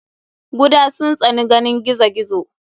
guda sun tsani ganin gizo gizo.